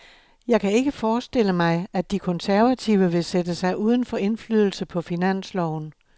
Jeg kan ikke forestille mig, at de konservative vil sætte sig uden for indflydelse på finansloven.